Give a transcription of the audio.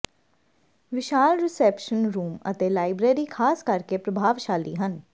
ਵਿਸ਼ਾਲ reception room ਅਤੇ library ਖਾਸ ਕਰਕੇ ਪ੍ਰਭਾਵਸ਼ਾਲੀ ਹਨ